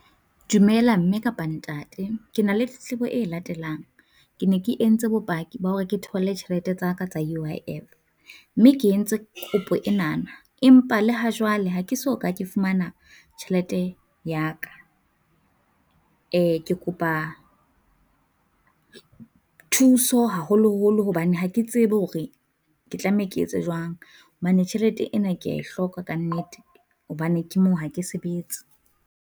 Dumela mme kapa ntate, Ke na le tletlebo e latelang, ke ne ke entse bopaki ba hore ke thole tjhelete tsa ka tsa U_I_F, mme ke entse kopo enana, empa le ha jwale ha ke so ka ke fumana tjhelete ya ka. Ke kopa thuso haholoholo hobane ha ke tsebe hore ke tlameha ke etse jwang, hobane tjhelete ena kea e hloka kannete, hobane ke moo ha ke sebetse.